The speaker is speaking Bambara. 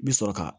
I bi sɔrɔ ka